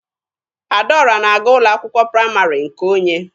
Adaọra na-aga ụlọ akwụkwọ praịmarị nke onye.